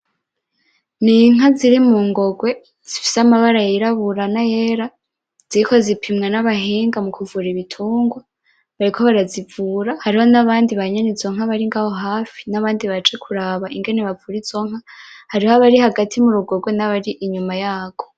Ni inka ziri mungogwe zifise amabara y'irabura nayera ziriko zipimwa n'abahinga mukuvura ibitungwa bariko barazivura hariho n'abandi banyene izo nka bari ngaho hafi n'abandi baje kuraba ingene bavura izonka hariho abari hagati m'urugogwe n'abari inyuma yagwo.